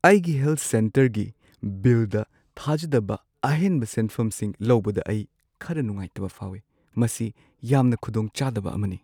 ꯑꯩꯒꯤ ꯍꯦꯜꯊ ꯁꯦꯟꯇꯔꯒꯤ ꯕꯤꯜꯗ ꯊꯥꯖꯗꯕ ꯑꯍꯦꯟꯕ ꯁꯦꯟꯐꯝꯁꯤꯡ ꯂꯧꯕꯗ ꯑꯩ ꯈꯔ ꯅꯨꯡꯉꯥꯏꯇꯕ ꯐꯥꯎꯏ, ꯃꯁꯤ ꯌꯥꯝꯅ ꯈꯨꯗꯣꯡꯆꯥꯗꯕ ꯑꯃꯅꯤ꯫